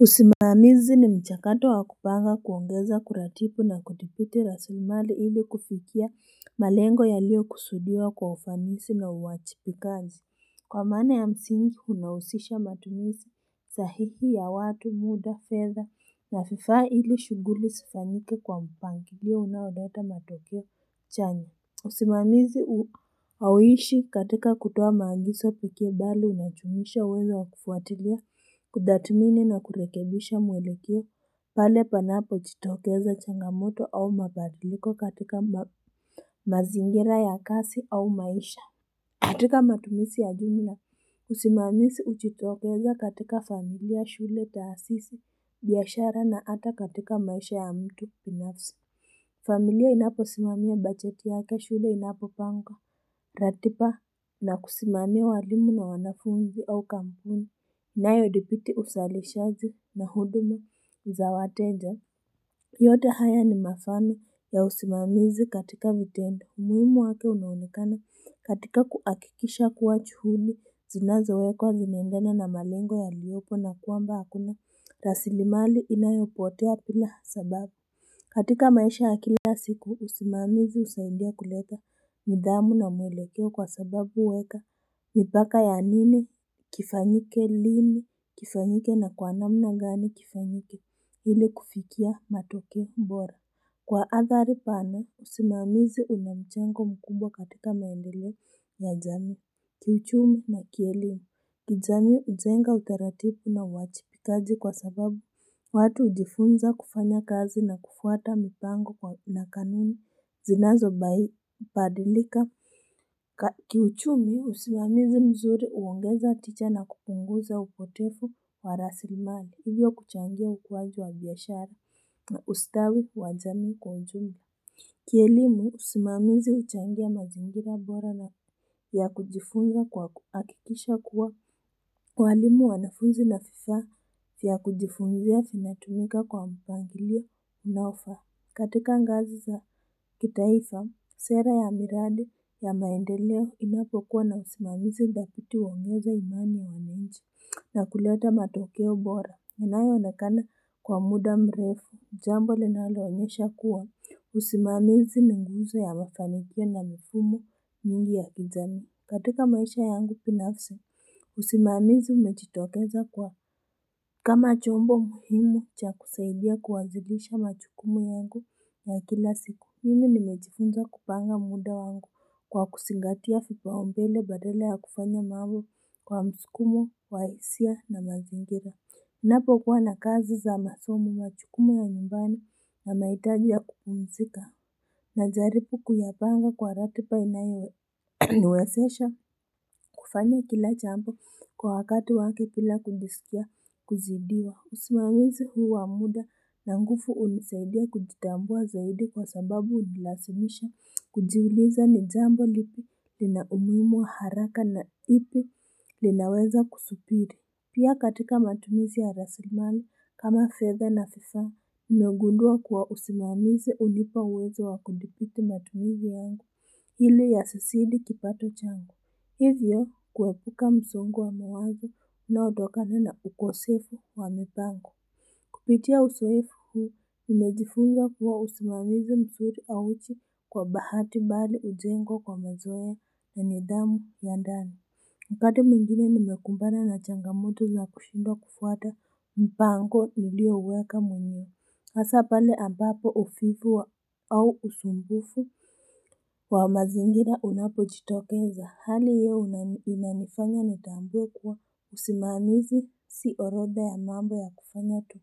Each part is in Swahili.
Usimamizi ni mchakato wa kupanga kuongeza kuratibu na kuthibiti rasilimali ili kufikia malengo yaliyo kusudiwa kwa ufanisi na uwajibikaji kwa maana ya msingi unahusisha matumizi sahihi ya watu muda fedha na vifaa ili shughuli zifanyike kwa mpangilio unaoleta matokeo chanya usimamizi hauishi katika kutoa maagizo pekee bali unajumuisha uwezo wa kufuatilia kudhamini na kurekebisha mwelekeo pale panapo jitokeza changamoto au mabadiliko katika mazingira ya kazi au maisha katika matumizi ya jumla usimamizi hujitokeza katika familia shule taasisi biashara na hata katika maisha ya mtu binafsi familia inapo simamia bajeti yake shule inapo panga ratiba na kusimamia walimu na wanafunzi au kampuni inayo dhibiti uzalishaji na huduma za wateja yote haya ni mafano ya usimamizi katika vitendo umuhimu wake unaonekana katika kuhakikisha kuwa juhudi zinazowekwa zinaendana na malengo yaliopo na kwamba hakuna rasili mali inayopotea bila sababu katika maisha ya kila ya siku usimamizi husaidia kuleta nidhamu na mwelekeo kwa sababu huweka mipaka ya nini kifanyike lini kifanyike na kwa namna gani kifanyike ili kufikia matokeo bora kwa athari pana usimamizi unamjengo mkubwa katika maendeleo ya jamii kiuchumi na kielimu kijamii hujenga utaratibu na uwajibikaji kwa sababu watu hujifunza kufanya kazi na kufuata mipango na kanuni zinazo badilika Kiuchumi usimamizi mzuri huongeza tija na kupunguza upotevu wa rasilimani hivyo kuchangia ukuaji wa biashara na ustawi wa jamii kwa ujumla Kielimu usimamizi huchangia mazingira bora na ya kujifunza kwa kuhakikisha kuwa walimu wanafunzi na vifaa vya kujifungia vinatumika kwa mpangilio unaofaa katika ngazi za kitaifa, sera ya miradi ya maendeleo inapokuwa na usimamizi dhabiti huongeza imani ya wananchi na kuleta matokeo bora. Inayo onekana kwa muda mrefu, jambo linalo onyesha kuwa, usimamizi ni nguzo ya mafanikio na mfumo nyingi ya kijamii katika maisha yangu binafsi, usimamizi umejitokeza kwa kama chombo muhimu cha kusaidia kuanzilisha majukumu yangu ya kila siku. Mimi nimejifunza kupanga muda wangu kwa kuzingatiavipaumbele badala ya kufanya mambo kwa msukumo, wa hisia na mazingira. Ninapo kuwa na kazi za masomo majukumu ya nyumbani na mahitaji ya kupumzika na jaribu kuyapanga kwa ratiba inayo niwezesha kufanya kila jambo kwa wakati wake bila kujisikia kuzidiwa. Usimamizi huu wa muda na nguvu hunisaidia kujitambua zaidi kwa sababu hunilazimisha kujiuliza ni jambo lipi lina umuhimu wa haraka na lipi linaweza kusubiri. Pia katika matumizi ya rasilmali kama fedha na vifaa, nimegundua kuwa usimamizi hunipa uwezo wa kudhibiti matumizi yangu ili yasizidi kipato changu. Hivyo kuepuka msongo wa mawazo unaotokana na ukosefu wa mipango. Kupitia uzoefu huu, nimejifunza kuwa usimamizi mzuri hauji kwa bahati bali hujengwa kwa mazoea ya nidhamu ya ndani. Upande mwingine nimekumbana na changamoto za kushindwa kufuata mpango nilio uweka mwenyewe hasa pale ambapo uvivu au usumbufu wa mazingira unapo jitokeza hali hiyo inanifanya nitambue kuwa usimamizi si orodha ya mambo ya kufanya tu.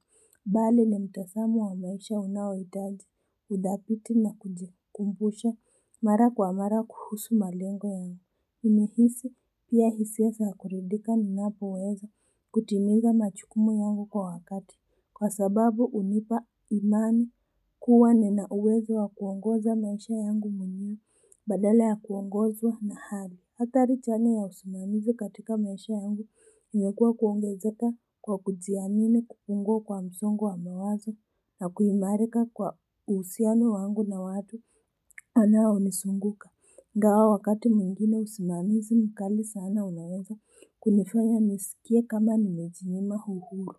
Bali na mtazamo wa maisha unaohitaji, udhabiti na kujikumbusha mara kwa mara kuhusu malengo yangu. Hunihisi pia hisia za kuridhika ninapoweza kutimiza majukumu yangu kwa wakati Kwa sababu hunipa imani kuwa nina uwezo wa kuongoza maisha yangu mwenyewe badala ya kuongozwa na hali adhari chanya ya usimamizi katika maisha yangu imekuwa kuongezeka kwa kujiamini kupungua kwa msongo wa mawazo na kuimarika kwa uhusiano wangu na watu wanao nizunguka ingawa wakati mwingine usimamizi mkali sana unaweza kunifanya nisikie kama nimejinyima uhuru.